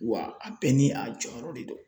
Wa a bɛɛ ni a jɔyɔrɔ de don